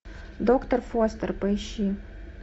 доктор фостер поищи